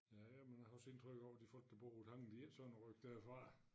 Ja ja men jeg har også indtrykket af at de folk der bor ovre på tangen de ikke sådan at rykke derfra